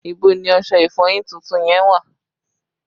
Ibo ni ọṣẹ ìfọyín tuntun yẹn wà?